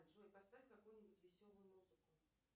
джой поставь какую нибудь веселую музыку